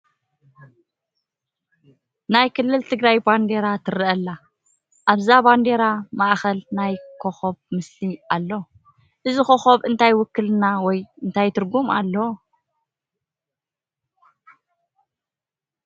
ናይ ክልል ትግራይ ባንዴራ ትርአ ኣላ፡፡ ኣብዛ ባንዴራ ማእኸል ናይ ኮኸም ምስሊ ኣሎ፡፡ እዚ ኮኸብ እንታይ ውክልና ወይ እንታይ ትርጉም ኣለዎ?